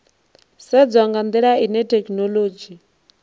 sedzwa nga ndila ine thekhinolodzhi